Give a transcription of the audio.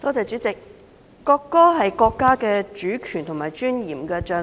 主席，國歌是國家主權和尊嚴的象徵。